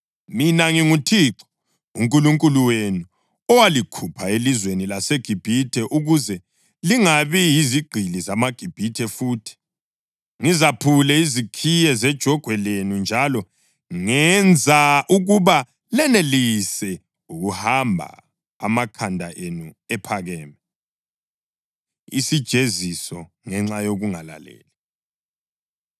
Mina nginguThixo uNkulunkulu wenu owalikhupha elizweni laseGibhithe ukuze lingabi yizigqili zamaGibhithe futhi. Ngizaphule izikeyi zejogwe lenu njalo ngenza ukuba lenelise ukuhamba amakhanda enu ephakeme.’ ” Isijeziso Ngenxa Yokungalaleli